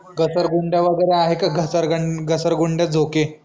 घसरगुंड्या वगैरे आहे का? घसरगं घसरगुंड्या, झोके